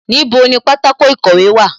Níbo ni pátákó ìkọ̀wé wà?